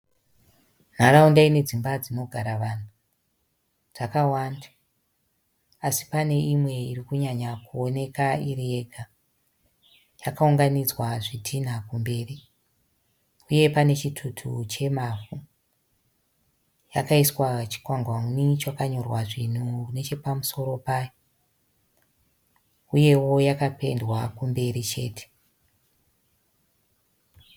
Nharaunda ine dzimba dzinogara vanhu. Dzakawanda asi pane imwe iri kunyanya kuoneka iri yega. Yakaunganidzwa zvitinha kumberi uye pane chitutu chemavhu. Yakaiswa chikwangwani chakanyorwa zvinhu nechepamusoro payo uyewo yakapendwa kumberi chete.